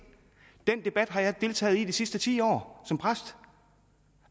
den debat har jeg deltaget i i de sidste ti år som præst